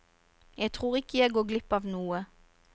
Jeg tror ikke jeg går glipp av noe.